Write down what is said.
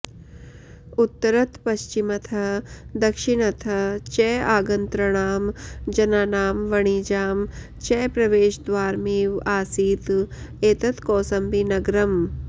उत्तरतपश्चिमतः दक्षिणतः च आगन्तृणां जनानां वणिजां च प्रवेशद्वारमिव आसीत् एतत् कौसम्बीनगरम्